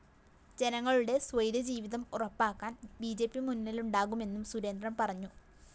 ജനങ്ങളുടെ സൈ്വര്യജീവിതം ഉറപ്പാക്കാന്‍ ബി ജെ പി മുന്നിലുണ്ടാകുമെന്നും സുരേന്ദ്രന്‍ പറഞ്ഞു